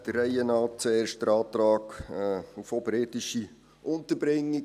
Der Reihe nach, zuerst zum Antrag auf oberirdische Unterbringung.